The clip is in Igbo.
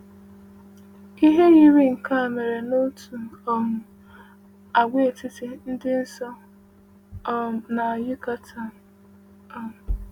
Ihe yiri nke a mere n’otu um agwaetiti dị nso um na Yucatán. um